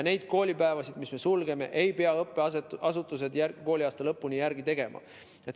Neid koolipäevi, kui koolid on suletud, ei pea õppeasutused kooliaasta lõpuni järele tegema.